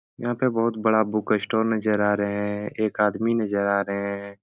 यहाँ पे बहोत बड़ा बुक स्टोर नज़र आ रहे है। एक आदमी नज़र आ रहे हैं।